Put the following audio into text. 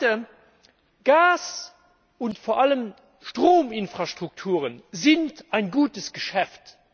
Der zweite Punkt Gas und vor allem Strominfrastrukturen sind ein gutes Geschäft.